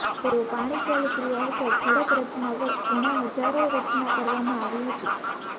તેઓ પાણી ચાલી ક્રિયા હેઠળ ખડક રચના વર્ષ ઘણા હજારો રચના કરવામાં આવી હતી